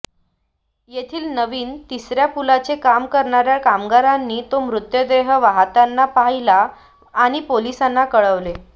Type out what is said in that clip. तेथील नवीन तिसऱ्या पुलाचे काम करणाऱ्या कामगारांनी तो मृतदेह वाहताना पाहिला आणि पोलिसांना कळवले